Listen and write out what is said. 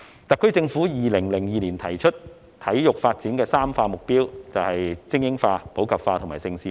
特區政府在2002年提出，體育發展的"三化"目標就是精英化、普及化和盛事化。